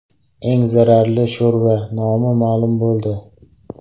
Eng zararli sho‘rva nomi ma’lum bo‘ldi.